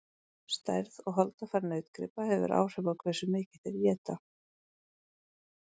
stærð og holdafar nautgripa hefur áhrif á hversu mikið þeir éta